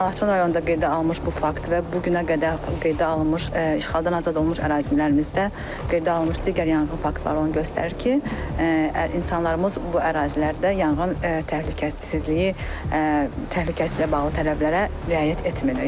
Laçın rayonunda qeydə alınmış bu fakt və bu günə qədər qeydə alınmış işğaldan azad olunmuş ərazilərimizdə qeydə alınmış digər yanğın faktları onu göstərir ki, insanlarımız bu ərazilərdə yanğın təhlükəsizliyi, təhlükəsizliyi ilə bağlı tələblərə riayət etmirlər.